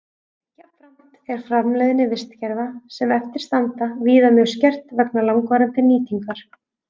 Jafnframt er framleiðni vistkerfa sem eftir standa víða mjög skert vegna langvarandi nýtingar.